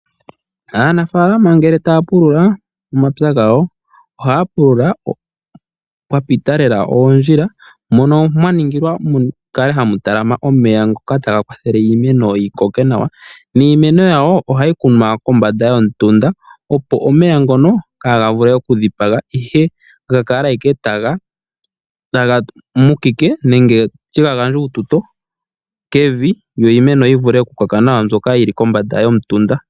Aanafaalama ngele taya pulula omapya gawo ohaya pulula pwa pita lela oondjila mono mwa ningilwa mukale hamu talama omeya ngoka taga kwathele iimeno yi koke nawa. Niimeno yawo ohayi kunwa kombanda yomutunda opo omeya ngono kaaga vule okudhipaga ihe ga kale ashike taga tutike nenge ga gandje uututo kevi yo iimeno yi vule okukoka nawa mbyoka yili kombanda yomutunda.